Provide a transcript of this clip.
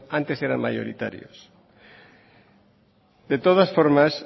antes eran mayoritarios de todas formas